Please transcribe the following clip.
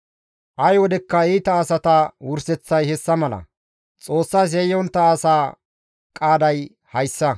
Ay wodekka iita asata wurseththay hessa mala; Xoossas yayyontta asa qaaday hayssa.»